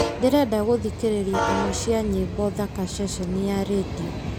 ndĩrenda gũthikĩrĩria imwe cia nyĩmbo thaka ceceni ya rĩndiũ